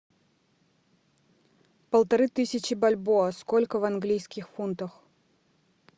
полторы тысячи бальбоа сколько в английских фунтах